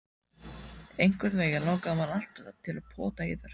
Einhvernveginn langaði mann alltaf til að pota í þær.